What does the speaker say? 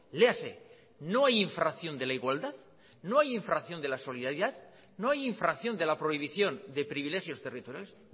léase no hay infracción de la igualdad no hay infracción de la solidaridad no hay infracción de la prohibición de privilegios territoriales